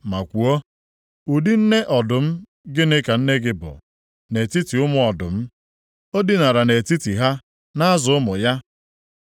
ma kwuo, “ ‘Ụdị nne Ọdụm gịnị ka nne gị bụ nʼetiti ụmụ ọdụm. Ọ dinara nʼetiti ha, na-azụ ụmụ ya.